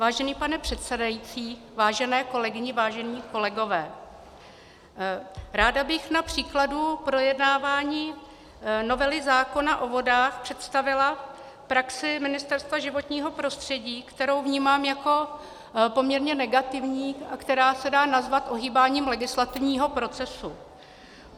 Vážený pane předsedající, vážené kolegyně, vážení kolegové, ráda bych na příkladu projednávání novely zákona o vodách představila praxi Ministerstva životního prostředí, kterou vnímám jako poměrně negativní a která se dá nazvat ohýbáním legislativního procesu.